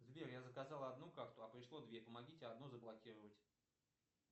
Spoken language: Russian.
сбер я заказал одну карту а пришло две помогите одну заблокировать